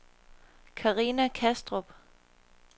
Carina Kastrup